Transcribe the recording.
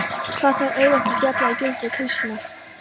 Hvað það er auðvelt að falla í gildrur klisjunnar.